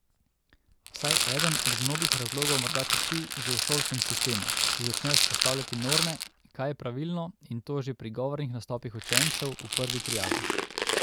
Vsaj eden od mnogih razlogov morda tiči že v šolskem sistemu, ki začne vzpostavljati norme, kaj je pravilno, in to že pri govornih nastopih učencev v prvi triadi.